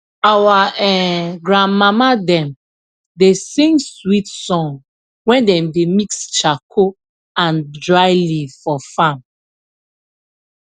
our um grandmama dem da sing swit song wen dem da mix charco and dry leave for fam